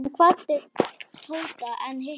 Hann kvaddi Tóta en hikaði.